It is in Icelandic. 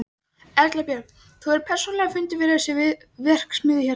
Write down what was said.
Erla Björg: Hefur þú persónulega fundið fyrir þessari verksmiðju hérna?